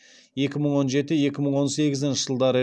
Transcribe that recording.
екі мың он жеті екі мың он сегізінші жылдары